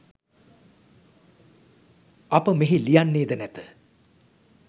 අප මෙහි ලියන්නේද නැත.